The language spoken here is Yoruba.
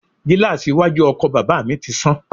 Gíláàsì iwájú ọkọ̀ bàbà mi ti sán.